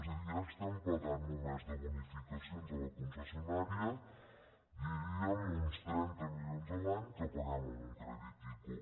és a dir ja estem pagant només de boni·ficacions a la concessionària uns trenta milions l’any que paguem amb un crèdit ico